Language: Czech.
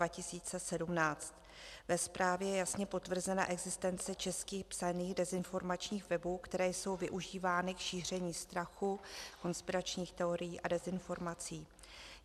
Ve zprávě je jasně potvrzena existence česky psaných dezinformačních webů, které jsou využívány k šíření strachu, konspiračních teorií a dezinformací.